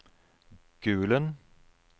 Gulen